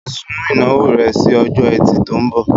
Sún ìnáwó rẹ si ọjọ́ ẹtì tó ń bọ̀